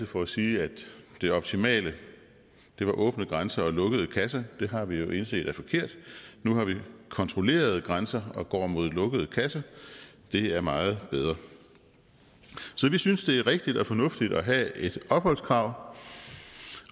for at sige at det optimale var åbne grænser og lukkede kasser det har vi jo indset er forkert nu har vi kontrollerede grænser og går mod lukket kasse det er meget bedre så vi synes det er rigtigt og fornuftigt at have et opholdskrav